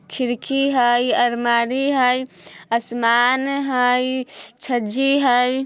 खिड़की हए अलमारी हए आसमान हए छज्जी हए।